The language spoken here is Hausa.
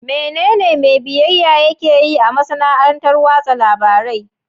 Menene mai biyayya yake yi a masana'antar watsa labarai?